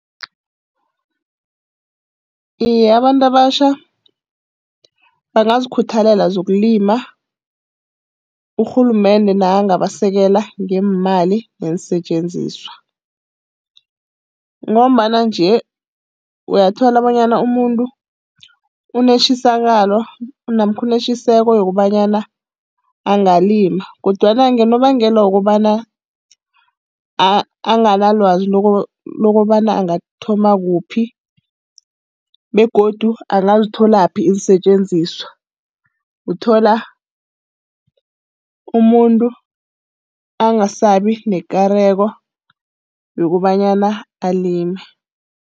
Iye, abantu abatjha bangazikhuthalela zokulima urhulumende nakangabasekela ngeemali neensetjenziswa. Ngombana nje uyathola bonyana umuntu unetjisakalo namkha unetjiseko yokobanyana angalima, kodwana ngonobangela wokobana anganalwazi lokobana angathoma kuphi begodu angazitholaphi iinsetjenziswa, uthola umuntu angasabi nekareko yokobanyana alime.